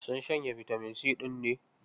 Sun shanye bitamin C ɗin ne?